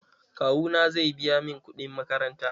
Kawu na zai biya mun kuɗin makaranta.